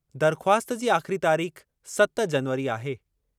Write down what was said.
दरख़्वास्त जी आख़िरी तारीख़ सत जनवरी आहे।